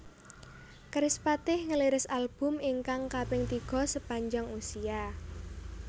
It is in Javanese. Kerispatih ngliris album ingkang kaping tiga Sepanjang Usia